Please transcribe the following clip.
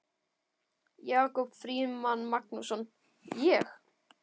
Jakob Frímann Magnússon: Ég?